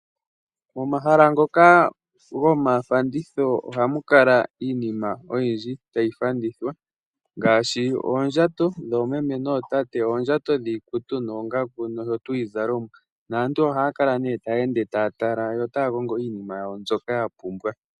Omahala ngoka gomafanditho ohamu kala iinima oyindji tayi fandithwa ngaashi oondjato dhoomeme nootate, oondjato dhiikutu noongaku ndhono dhiizalomwa, naantu ohaya kala taya ende taya tala yo otaya kongo iinima yawo mbyoka ya pumbwa.